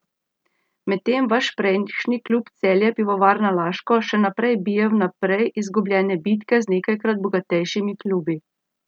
Medtem vaš prejšnji klub Celje Pivovarna Laško še naprej bije vnaprej izgubljene bitke z nekajkrat bogatejšimi klubi.